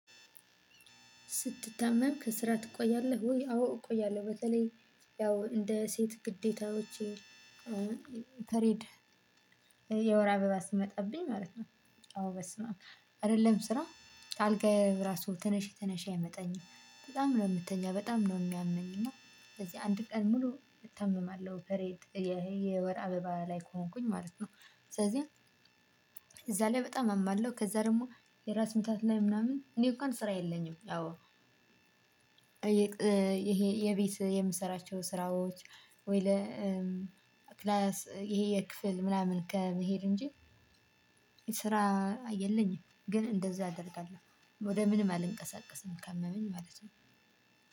ስትታመም ከስራ ትቆያለህ ወይ? አዎ እቆያለሁ በተለይ ያው እንደ ሴት ግዴታዎች ፔሬድ የወር አበባ ስመጣብኝ ማለት ነው። አዎ በስምአብ አይደለም ስራ። አልጋ የራሱ ትንሽ ትንሽ ያምጠኛል በጣም ነው የምትተኛ በጣም ነው የሚያመኝ እና። ስለዚህ አንድ ቀን ሙሉ እታመማለሁ ፔሬድ ይሄ የወር አበባ ላይ ከሆንኩኝ ማለት ነው። ስለዚህ እዛ ላይ በጣም አማለው ከዛ ደግሞ የራስ ምታት ላይ ምናምን እኔ እንኳን ስራ የለኝም። ያው ይሄ የቤት የምሰራቸው ስራዎች ወይ ለክላስ ይሄ የክፍል ምናምን ከመሄድ እንጂ ስራ የለኝም። ግን እንደዛ አደርጋለሁ ወደ ምንም አልንቀሳቀስም ካመመኝ ማለት ነው።